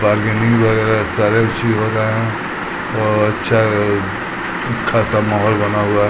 Bargaining वगैरा सारे अच्छी हो रहे है और अच्छाअअ खासा माहोल बना हुआ है।